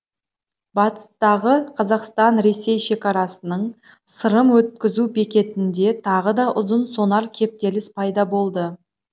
батыстағы қазақстан ресей шекарасының сырым өткізу бекетінде тағы да ұзын сонар кептеліс пайда болды